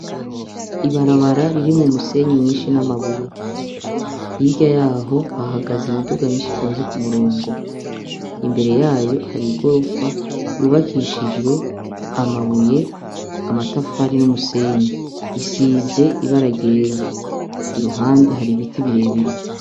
Ibarabara ririmwo umusenyi mwinshi n' amabuye. Hirya yaho hahagaze imiduga myinshi itonze ku murongo. Imbere yayo hari igorofa yubakishijwe amabuye, amatafari n' umusenyi. Isize ibara ryera. Iruhande hari ibiti birebire.